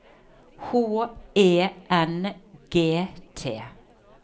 H E N G T